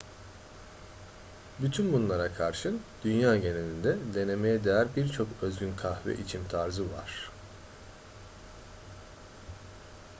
bütün bunlara karşın dünya genelinde denemeye değer birçok özgün kahve içim tarzı var